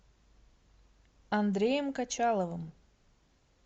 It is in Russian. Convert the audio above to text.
андреем качаловым